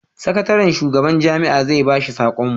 sakatarin shugaban jami'a zai ba shi sakon mu